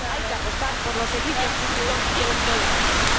Hay que apostar por los servicios públicos y el empleo de calidad.